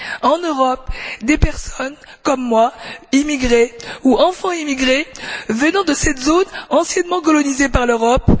En Europe, des personnes, comme moi immigrés ou enfants d'immigrés venant de cette zone anciennement colonisée par l'Europe,